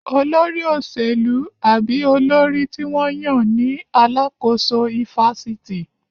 Olórí òṣèlú àbí olórí tí wọ́n yàn ní alàkóso ifásitì